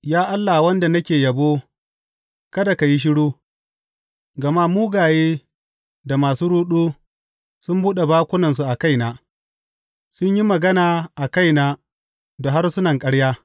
Ya Allah, wanda nake yabo, kada ka yi shiru, gama mugaye da masu ruɗu sun buɗe bakunansu a kaina; sun yi magana a kaina da harsunan ƙarya.